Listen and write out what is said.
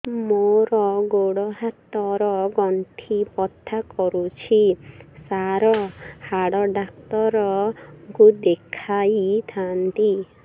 ମୋର ଗୋଡ ହାତ ର ଗଣ୍ଠି ବଥା କରୁଛି ସାର ହାଡ଼ ଡାକ୍ତର ଙ୍କୁ ଦେଖାଇ ଥାନ୍ତି